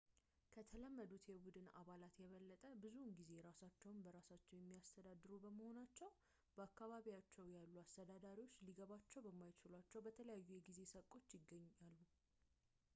ከተለመዱት የቡድን አባላት የበለጠ ብዙውን ጊዜ ራሳቸውን በራሳቸው የሚያስተዳድሩ በመሆናቸው በአካባቢያቸው ያሉ አስተዳዳሪዎች ሊገባቸው በማይችሏቸው በተለያዩ የጊዜ ሰቆች ይገናኛሉ